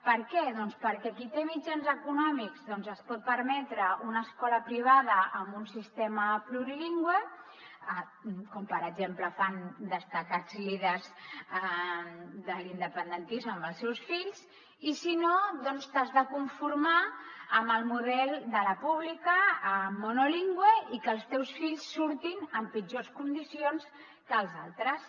per què doncs perquè qui té mitjans econòmics es pot permetre una escola privada amb un sistema plurilingüe com per exemple fan destacats líders de l’independentisme amb els seus fills i si no t’has de conformar amb el model de la pública monolingüe i que els teus fills surtin en pitjors condicions que els altres